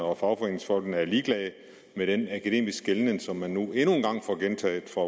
og at fagforeningsfolkene var ligeglade med den akademiske som man nu endnu en gang får gentaget fra